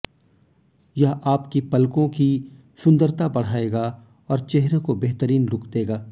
यह आपकी पलकों की सुंदर बढ़ाएगा और चेहरे को बेहतरीन लुक देगा